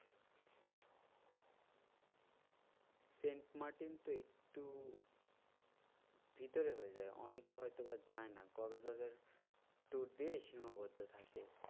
Saint Martin তো একটু ভিতরে হয়ে যায় অনেকে হয়তো বা যায়না কক্সবাজার tour দিয়েই সীমাবদ্ধ থাকে।